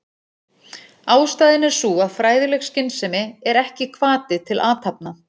Ástæðan er sú að fræðileg skynsemi er ekki hvati til athafna.